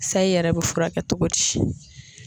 Sayi yɛrɛ bɛ furakɛ cogo di?